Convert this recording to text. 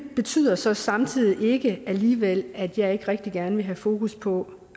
betyder så samtidig alligevel at jeg ikke rigtig gerne vil have fokus på